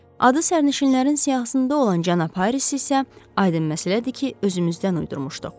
Adı sərnişinlərin siyahısında olan cənab Harrist isə aydın məsələdir ki, özümüzdən uydurmuşduq.